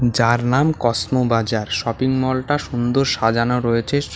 যার নাম Cosmo Bazar shopping মলটা সুন্দর সাজানো রয়েছে শ--